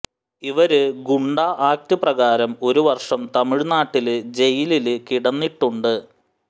ഇവര് ഗുണ്ടാ ആക്ട് പ്രകാരം ഒരു വര്ഷം തമിഴ്നാട്ടില് ജയിലില് കിടന്നിട്ടുണ്ട്